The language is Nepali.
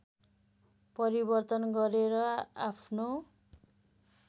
परिवर्तन गरेर आफ्नो